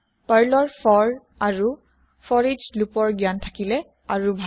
পাৰ্লৰ ফৰ আৰু ফৰইছৰ জ্ঞান থাকিলে আৰু ভাল